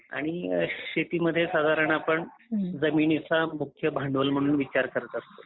आणि शेती म्हणजे शेतीमध्ये साधारण आपण जमिनीचा मुख्य भांडवल म्हणून विचार करत असतो.